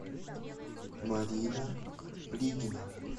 марина плигина